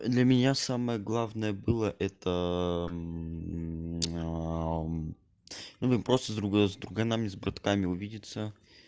для меня самое главное было это ну просто с друганами с братками увидеться